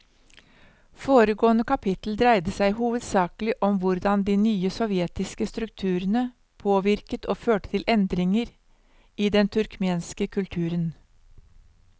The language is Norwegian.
Foregående kapittel dreide seg hovedsakelig om hvordan de nye sovjetiske strukturene påvirket og førte til endringer i den turkmenske kulturen.